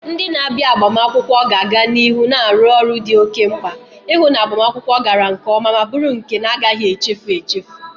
Ndị na-abịa agbamakwụkwọ ga-aga n'ihu na-arụ ọrụ dị oke mkpa, ihu na agbamakwụkwọ gara nke oma ma buru nke na-agaghi echefu echefu.